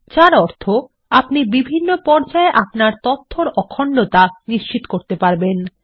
যার অর্থ আপনি বিভিন্ন পর্যায়ে আপনার তথ্যর অখণ্ডতা নিশ্চিত করতে পারেন